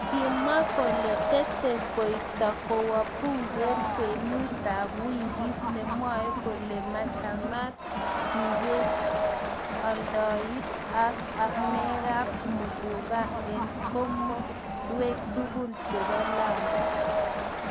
kimwa kole tetei koipto kowo bunge kwenutab wikit nemwoei kole mochamtaat ibet, aldaet ak amekab muguka eng komodwek tugul chebo Lamu